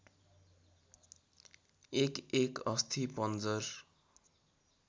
एकएक अस्थिपञ्जर